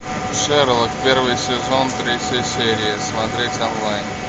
шерлок первый сезон третья серия смотреть онлайн